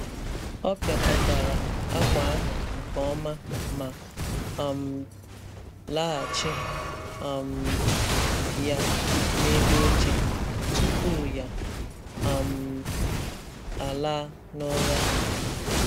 Ọ pịakọtara akwa ahụ nke ọma ma um laghachi um ya n’elu oche tupu ya um alaa n’ụra.